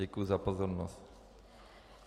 Děkuji za pozornost.